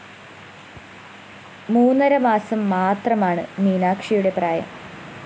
മൂന്നര മാസം മാത്രമാണ് മീനാക്ഷിയുടെ പ്രായം